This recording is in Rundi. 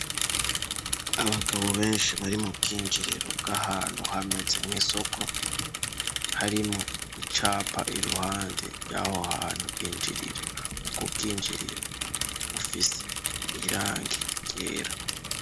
Abagabo benshi bari mu bw'injiriro bw'ahantu hameze nk'isoko harimwo icapa iruhande ryaho hantu binjirira ubwo bwinjirira bufise irangi yera.